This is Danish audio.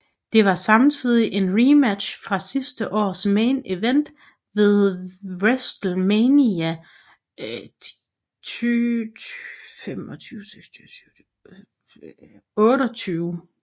Det var samtidig en rematch fra sidste års main event ved WrestleMania XXVIII